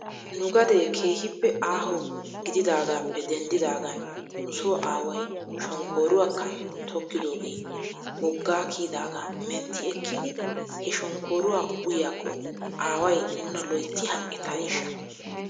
Nugadee keehippe aaho gididaagaappe denddidaagan nuso aaway shonkkooruwakka tokkidoogee woggaa kiyidaagaa mentti ekkidi he shonkkooruwaa uyiyaakko aaway nuna loyttidi hanqqettaneeshsha?